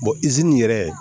izini yɛrɛ